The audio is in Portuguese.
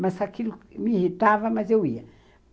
Mas aquilo me irritava, mas eu ia.